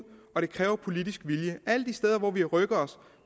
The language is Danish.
og det kræver politisk vilje alle de steder hvor vi har rykket os